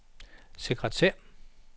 sekretær